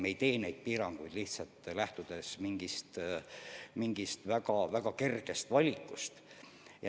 Me ei tee neid piiranguid lähtudes mingist väga kergest valikust.